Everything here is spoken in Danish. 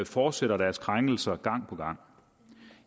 fortsætter deres krænkelser gang på gang